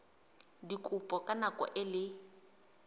dikopo ka nako e le